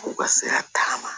U ka se ka tagama